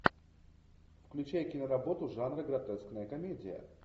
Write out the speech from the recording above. включай киноработу жанра гротескная комедия